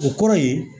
O kɔrɔ ye